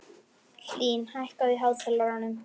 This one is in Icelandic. Hlín, hækkaðu í hátalaranum.